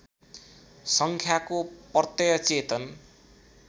सङ्ख्याको प्रत्यय चेतन